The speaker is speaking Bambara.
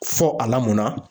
Fɔ a lamɔnna.